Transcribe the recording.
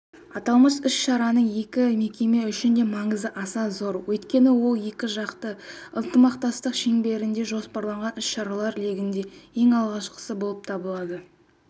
аталмыш іс-шараның екі мекеме үшін де маңызы аса зор өйткені ол екіжақты ынтымақтастық шеңберінде жоспарланған іс-шаралар легінде ең алғашқысы болып табылады